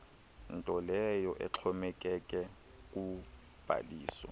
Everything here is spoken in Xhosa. ntoleyo exhomekeke kubhaliso